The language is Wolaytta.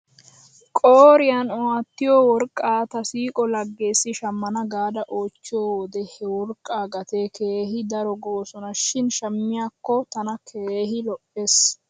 Qooriyan aattiyoo wrqqaa ta siiqo lageessi shamana gaada oychchiyoo wode he worqqaa gatee keehi daro goosona shin shamiyaakko tana keehi lo'es.